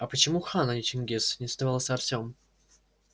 а почему хан а не чингиз не сдавался артём